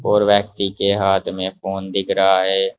और व्यक्ति के हाथ में फोन दिख रहा है।